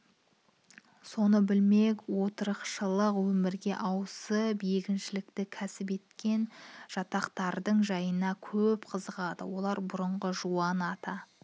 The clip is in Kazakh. соны білмек отырықшылық өмірге ауысып егіншілікті кәсіп еткен жатақтардың жайына көп қызығады олардың бұрынғы жуан ата